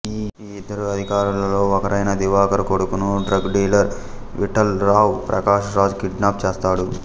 ఈ ఇద్దరు అధికారులలో ఒకరైన దివాకర్ కొడుకును drug dealer Vithal Rao Prakash Raj kidnap చేస్తాడు